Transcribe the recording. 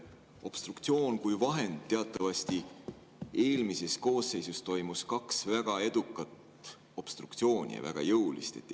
Obstruktsioon kui vahend – teatavasti eelmises koosseisus toimus kaks väga edukat ja väga jõulist obstruktsiooni.